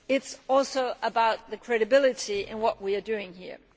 it is also about the credibility of what we are doing here.